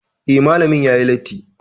Eh, Malamin yayi latti